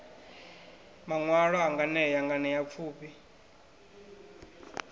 maṋwalwa a nganea nganea pfufhi